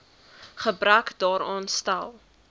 gebrek daaraan stel